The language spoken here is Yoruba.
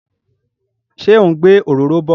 Ṣé ó ń gbé òróró bọ?